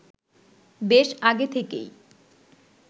বেশ আগে থেকেই